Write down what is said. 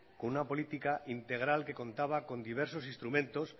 como una política integral que contaba con diversos instrumentos